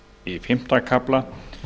í fimmta kafla